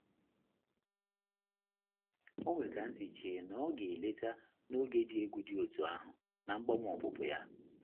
O nwere ka nsi che na ọ ga-eleta n'oge dị egwu dị otú ahụ na mgbanwe opupu anyị.